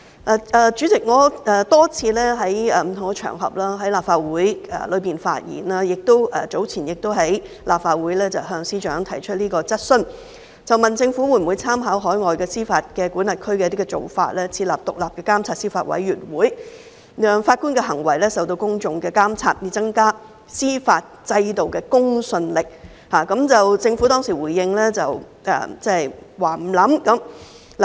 代理主席，我多次在不同場合和立法會發言，早前亦曾在立法會向司長提出質詢，問政府會否參考海外司法管轄區的做法，設立獨立監察司法委員會，讓法官的行為受到公眾監察，以增加司法制度的公信力，政府當時回應是不會考慮。